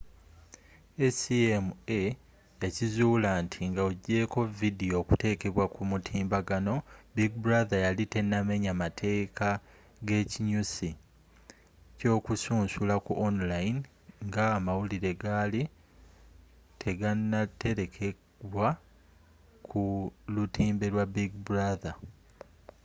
acma yakizuula nti nga ojeko vidiyo okutekebwa ku mutimbagano big brother yali tenamenya mateeka g'ekinyusi ky'okusunsula ku online nga amawulire gaali teganatelekebwa ku lutimbe lwa big brother